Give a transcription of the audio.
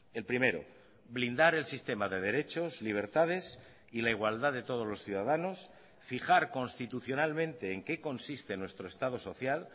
el primero blindar el sistema de derechos libertades y la igualdad de todos los ciudadanos fijar constitucionalmente en qué consiste nuestro estado social